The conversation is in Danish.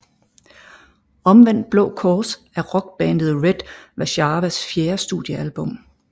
Omvendt Blå Kors er rockbandet Red Warszawas fjerde studiealbum